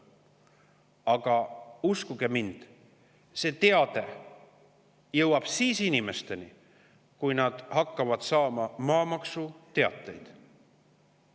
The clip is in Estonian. Aga uskuge mind, see jõuab inimesteni siis, kui nad hakkavad saama maamaksuteateid.